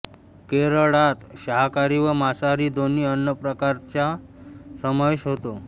केरळात शाकाहारी व मांसाहारी दोन्ही अन्न प्रकारांचा समावेश होतो